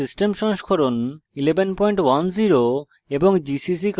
ubuntu operating system সংস্করণ 1110